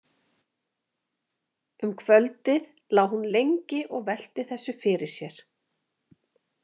Um kvöldið lá hún lengi og velti þessu fyrir sér.